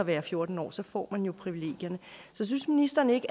er fjorten år så får man jo privilegierne synes ministeren ikke